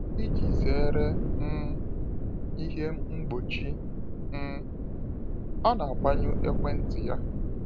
Iji zere um ihe mgbochi um, ọ na agbanyụ ekwentị ya.